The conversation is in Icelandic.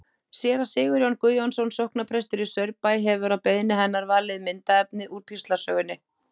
Séra Sigurjón Guðjónsson sóknarprestur í Saurbæ hefur að beiðni hennar valið myndaefnið úr píslarsögunni.